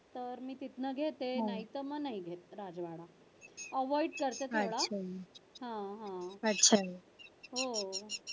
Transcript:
तर मी तिथन घेते नाहीतर मग नाही घेत avoid करते थोडा हा हा हो